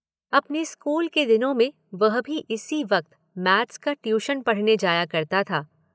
अपने स्कूल के दिनों में वह भी इसी वक्त मैथ्स का ट्यूशन पढ़ने जाया करता था।